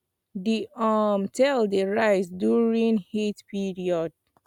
the um tail dey rise during heat period